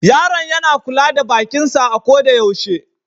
Yaron yana kula da bakin sa a ko da yaushe.